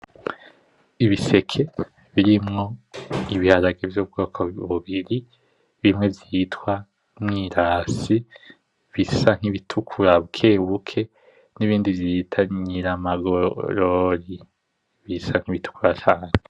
Ibiseke birimwo ibiharage vy’ubwoko bubiri bimwe vyitwa Mwirasi bisa kibitukura bukebuke n’ibindi vyitwa Nyiramagorori bisa kibitukura cane.